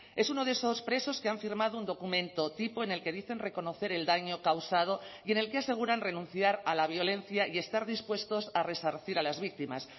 es uno de esos presos que han firmado un documento tipo en el que dicen reconocer el daño causado y en el que aseguran renunciar a la violencia y estar dispuestos a resarcir a las víctimas